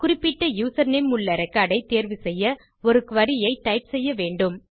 குறிப்பிட்ட யூசர்நேம் உள்ள ரெக்கார்ட் ஐ தேர்வு செய்ய ஒரு குரி ஐ டைப் செய்ய வேண்டும்